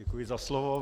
Děkuji za slovo.